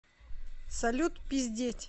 салют пиздеть